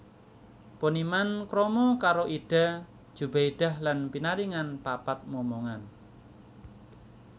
Poniman krama karo Ida Djubaedah lan pinaringan papat momongan